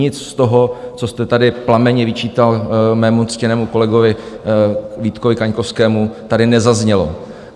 Nic z toho, co jste tady plamenně vyčítal mému ctěnému kolegovi Vítkovi Kaňkovskému, tady nezaznělo.